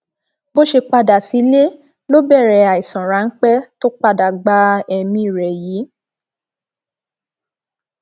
bó ṣe padà sílé ló bẹrẹ àìsàn ráńpẹ tó padà gba ẹmí rẹ yìí